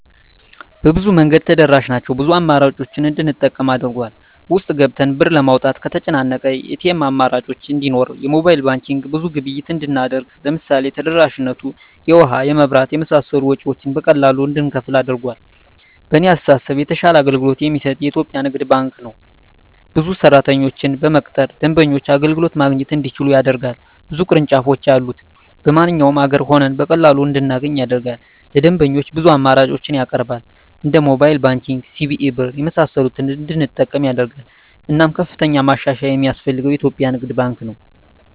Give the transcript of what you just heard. በብዙ መንገድ ተደራሽ ናቸው ብዙ አማራጮችን እንድንጠቀም አድርጎል። ውስጥ ገብተን ብር ለማውጣት ከተጨናነቀ የኤቲኤም አማራጮች እንዲኖር የሞባይል ባንኪንግ ብዙ ግብይት እንድናደርግ ለምሳሌ ተደራሽነቱ የውሀ, የመብራት የመሳሰሉ ወጭወችን በቀላሉ እንድንከፍል አድርጓል። በእኔ አስተሳሰብ የተሻለ አገልግሎት የሚሰጥ የኢትዪጵያ ንግድ ባንክ ነው። ብዙ ሰራተኞችን በመቅጠር ደንበኞች አገልግሎት ማግኘት እንዲችሉ ያደርጋል። ብዙ ቅርንጫፎች ያሉት በማንኛውም አገር ሆነን በቀላሉ እንድናገኝ ያደርጋል። ለደንበኞች ብዙ አማራጮችን ያቀርባል እንደ ሞባይል ባንኪንግ, ሲቢኢ ብር , የመሳሰሉትን እንድንጠቀም ያደርጋል። እናም ከፍተኛ ማሻሻያ የማስፈልገው የኢትዮጵያ ንግድ ባንክ ነው።